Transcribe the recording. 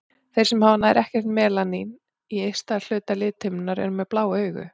Þeir sem hafa nær ekkert melanín í ysta hluta lithimnunnar eru með blá augu.